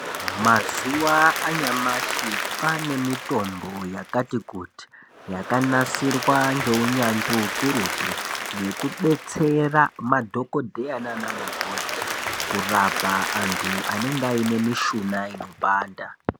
Mazuwa anyamashi, kwaane mitombo yakati kuti, yakanasirwa ngeunyanzvi ukurutu, yekubetsera madhokodheya naanamukoti, kurapa antu anenge aine mishuna inopanda.